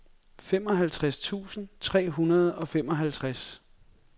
femoghalvtreds tusind tre hundrede og femoghalvtreds